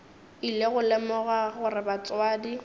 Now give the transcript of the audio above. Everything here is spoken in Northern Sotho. ile go lemoga gore batswadi